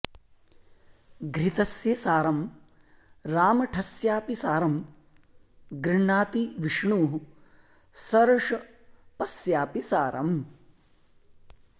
घृतस्य सारं रामठस्यापि सारं गृह्णाति विष्णुः सर्षपस्यापि सारम्